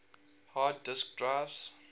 hard disk drives